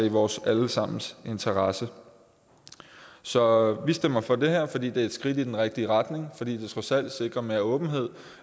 i vores alle sammens interesse så vi stemmer for det her fordi det er et skridt i den rigtige retning fordi det trods alt sikrer mere åbenhed